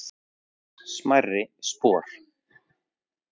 smærri spor